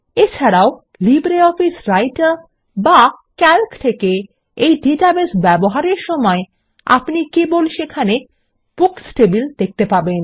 এছাড়াও LibreOffice Writer বা Calc থেকে এই ডাটাবেস ব্যবহারের সময় আপনি কেবল সেখানে বুকস টেবিল দেখতে পাবেন